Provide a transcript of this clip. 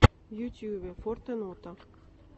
в ютюбе фортенота